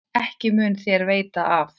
Ekki mun þér af veita.